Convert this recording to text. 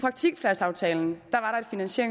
eneste